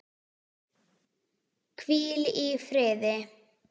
Hvíl í friði!